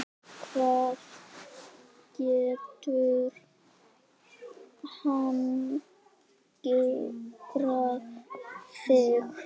hvað getur angrað þig?